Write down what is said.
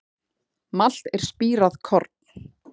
Malt er spírað korn.